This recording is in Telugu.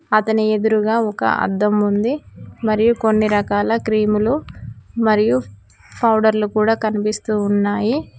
అతని ఎదురుగా ఒక అద్దం ఉంది మరియు కొన్ని రకాల క్రీములు మరియు ఫౌడర్లు కూడా కనిపిస్తూ ఉన్నాయి.